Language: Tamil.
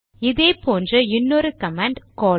இதே போன்ற இன்னொரு கமாண்ட் கால்